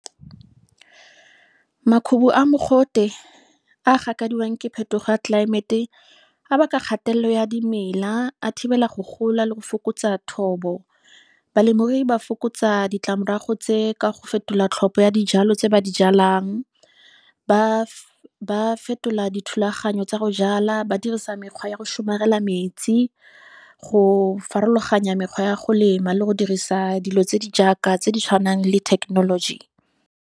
Makhubu a mogote a gakadiwang ke phetogo ya climate-e a baka kgatelelo ya dimela, a thibela go gola, le go fokotsa thobo. Balemirui ba fokotsa ditlamorago tse ka go fetola tlhopho ya dijalo tse ba di jalang. Ba fetola dithulaganyo tsa go jala, ba dirisa mekgwa ya go somarela metsi, go farologanya mekgwa ya go lema, le go dirisa dilo tse di jaaka tse di tshwanang le technology.